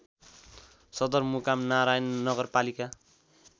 सदरमुकाम नारायण नगरपालिका